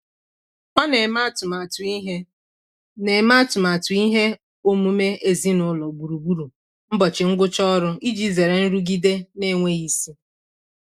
Ọ na-eme atụmatụ ihe na-eme atụmatụ ihe omume ezinụlọ gburugburu ụbọchị ngwụcha ọrụ iji zere nrụgide na-enweghị isi.